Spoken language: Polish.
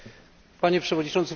Panie Przewodniczący!